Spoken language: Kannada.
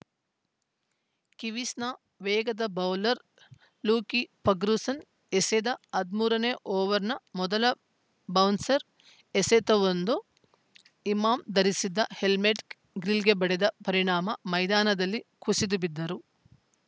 ಕಿವೀಸ್‌ನ ವೇಗದ ಬೌಲರ್‌ ಲೂಕಿ ಫಗ್ರ್ಯೂಸನ್‌ ಎಸೆದ ಹದಿಮೂರನೇ ಓವರ್‌ನ ಮೊದಲ ಬೌನ್ಸರ್‌ ಎಸೆತವೊಂದು ಇಮಾಮ್‌ ಧರಿಸಿದ್ದ ಹೆಲ್ಮೆಟ್‌ ಗ್ರಿಲ್‌ಗೆ ಬಡಿದ ಪರಿಣಾಮ ಮೈದಾನದಲ್ಲಿ ಕುಸಿದು ಬಿದ್ದರು